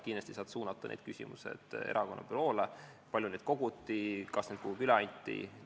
Kindlasti saad sa suunata erakonna büroole need küsimused, et kui palju neid koguti ja kas need kuhugi üle anti.